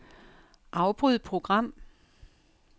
Afbryd program.